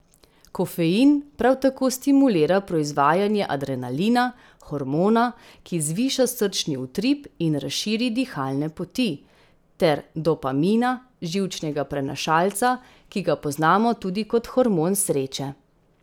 Kofein prav tako stimulira proizvajanje adrenalina, hormona, ki zviša srčni utrip in razširi dihalne poti, ter dopamina, živčnega prenašalca, ki ga poznamo tudi kot hormon sreče.